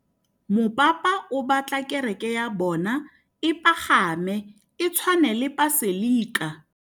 Mopapa o batla kereke ya bone e pagame, e tshwane le paselika.